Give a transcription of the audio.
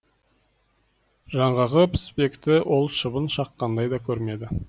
жаңағы піспекті ол шыбын шаққандай да көрмеді